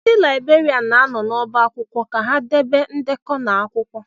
Ndị libèrián na-anọ n'ọbá akwụkwọ ka ha debe ndekọ na akwụkwọ